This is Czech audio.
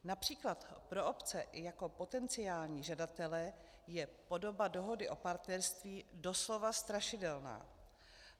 Například pro obce jako potenciální žadatele je podoba Dohody o partnerství doslova strašidelná.